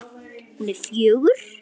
Hún er fjögur.